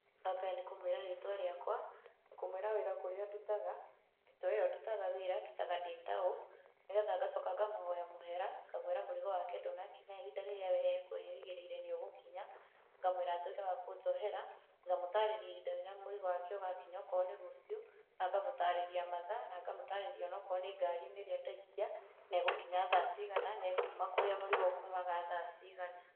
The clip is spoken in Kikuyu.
Wambere nĩkũmwĩra rĩtwa rĩakwa, kũmũĩra wĩra kũrĩa wĩra ndutaga, thitoo ĩyo ndutaga wĩra, ndutaga ndĩtaũ, nĩgetha ngacoka ngamũhoya mũhera, ngamwĩra mũrigo wake ndũnakinya ihinda rĩrĩa we ekwĩrĩgĩrĩire nĩũgũkinya, ngamwĩra atuĩke wa kũnjohera, ngamũtarĩria ihinda rĩrĩa mũrigo wake ũgakinya onokorũo nĩ rũciũ, na ngamũtarĩria mathaa, na ngamũtarĩria onokorũo ni ngarinĩ ĩrĩa ndaikia, na ĩgũkinya thaa cigana na ĩkuma kũrĩa mũrigo ũkumaga thaa cigana.